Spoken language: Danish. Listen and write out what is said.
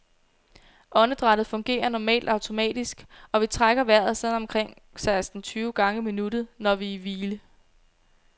Åndedrættet fungerer normalt automatisk, og vi trækker vejret sådan omkring seksten tyve gange i minuttet, når vi er i hvile.